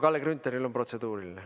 Kalle Grünthalil on protseduuriline.